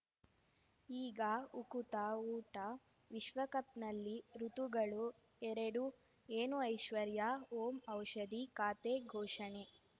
ಈಗ ಉಕುತ ಊಟ ವಿಶ್ವಕಪ್‌ನಲ್ಲಿ ಋತುಗಳು ಎರಡು ಏನು ಐಶ್ವರ್ಯಾ ಓಂ ಔಷಧಿ ಖಾತೆ ಘೋಷಣೆ